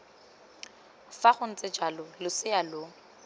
fa gontse jalo losea lo